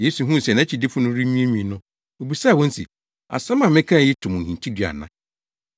Yesu huu sɛ nʼakyidifo no renwiinwii no, obisaa wɔn se, “Asɛm a mekae yi to mo hintidua ana?